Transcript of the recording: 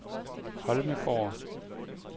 Holmegaard